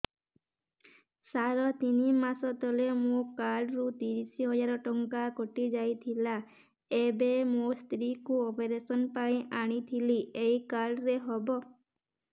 ସାର ତିନି ମାସ ତଳେ ମୋ କାର୍ଡ ରୁ ତିରିଶ ହଜାର ଟଙ୍କା କଟିଯାଇଥିଲା ଏବେ ମୋ ସ୍ତ୍ରୀ କୁ ଅପେରସନ ପାଇଁ ଆଣିଥିଲି ଏଇ କାର୍ଡ ରେ ହବ